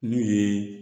N'o ye